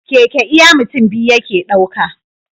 Keke iya mutun biyu yake ɗauka